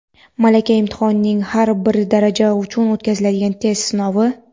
Malaka imtihonining har bir daraja uchun o‘tkaziladigan test sinovi:.